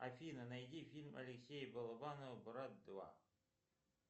афина найди фильм алексея балабанова брат два